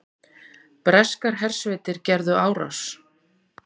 Breskar hersveitir gerðu árás